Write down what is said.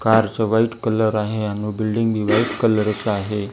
Car चं white colour आहे आणि बिल्डिंग बी व्हाईट कलर चं आहे.